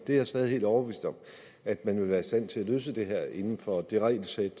er stadig helt overbevist om at man vil være i stand til at løse det her inden for det regelsæt